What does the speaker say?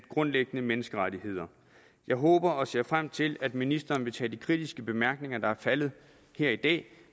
grundlæggende menneskerettigheder jeg håber og ser frem til at ministeren vil tage de kritiske bemærkninger der er faldet her i dag